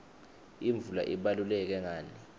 imvula ibaluleke ngani